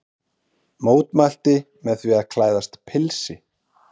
Mótmælti með því að klæðast pilsi